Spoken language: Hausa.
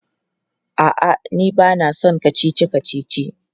A'a, ni ba na son kacici-kacici.